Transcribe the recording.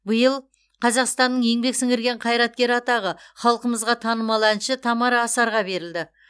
биыл қазақстанның еңбек сіңірген қайраткері атағы халқымызға танымал әнші тамара асарға берілді